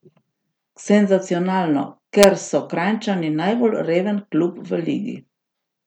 Senzacionalno, ker so Kranjčani najbolj reven klub v ligi.